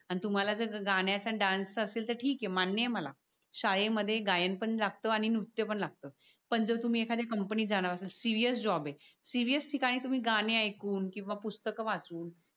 तर तुम्हाला गाण्याच आणि डान्स च असेल तर मान्य ये मला. शाळे मध्ये गायन पण अलगत आणि नृत्य पण लागत पं जर तुम्ही एकाद्या कंपनी त जाणार सिरिअस जॉब आहे. सिरिअस ठिकाणी तुम्ही गाणी एकूण किवा पुस्थक वाचून